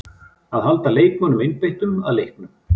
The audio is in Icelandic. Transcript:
Að halda leikmönnunum einbeittum að leiknum.